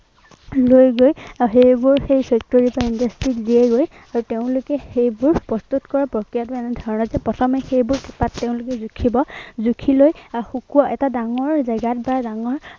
লৈ গৈ এৰ সেইবোৰ সেই factory বা industry ত দিয়েগৈ। আৰু তেওঁলোকে সেইবোৰ প্ৰস্তুত কৰাৰ প্ৰক্ৰিয়াটো এনেধৰনৰ যে প্ৰথমে সেইবোৰ পাত তেওঁলোকে জুঁখিব, জুঁখি লৈ আহ শুকুৱাব। শুকুৱাই এটা ডাঙৰ জেগাত বা ডাঙৰ